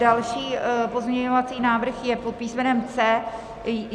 Další pozměňovací návrh je pod písmenem C.